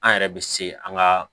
An yɛrɛ bɛ se an ga